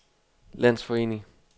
landsforening